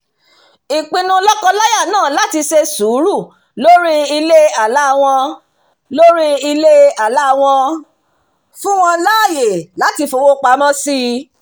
ìpinnu lọ́kọ-láya náà láti ṣe sùúrù lórí ilé-àlá wọn lórí ilé-àlá wọn fún wọn láàyè láti fowópamọ́ sí i